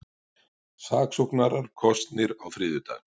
Saksóknarar kosnir á þriðjudag